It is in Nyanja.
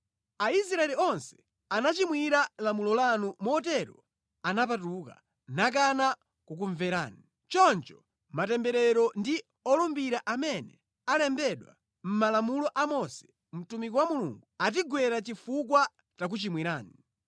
Aisraeli onse anachimwira lamulo lanu motero anapatuka, nakana kukumverani. “Choncho matemberero ndi olumbira amene alembedwa mʼmalamulo a Mose, mtumiki wa Mulungu, atigwera chifukwa takuchimwirani.